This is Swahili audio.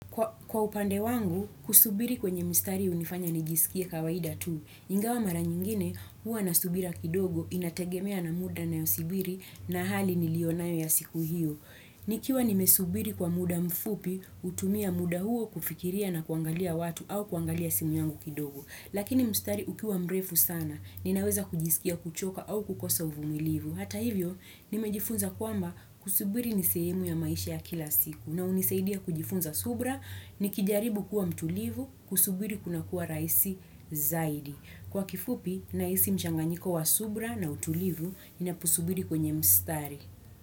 Kwa upande wangu, kusubiri kwenye mstari hunifanya nijisikie kawaida tu. Ingawa mara nyingine, huwa na subira kidogo inategemea na muda nayosubiri na hali niliyo nayo ya siku hiyo. Nikiwa nimesubiri kwa muda mfupi, hutumia muda huo kufikiria na kuangalia watu au kuangalia simu yangu kidogo. Lakini mstari ukiwa mrefu sana, ninaweza kujisikia kuchoka au kukosa uvumilivu. Hata hivyo, nimejifunza kwamba kusubiri ni sehemu ya maisha ya kila siku. Na hunisaidia kujifunza subra, nikijaribu kuwa mtulivu, kusubiri kuna kuwa rahisi zaidi. Kwa kifupi, nahisi mchanganiko wa subra na utulivu, ninaposubiri kwenye mstari.